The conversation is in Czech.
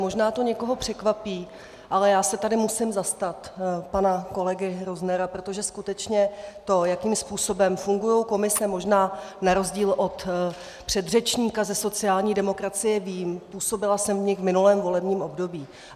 Možná to někoho překvapí, ale já se tady musím zastat pana kolegy Roznera, protože skutečně to, jakým způsobem fungují komise - možná na rozdíl od předřečníka ze sociální demokracie - vím, působila jsem v nich v minulém volebním období.